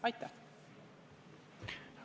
Aitäh!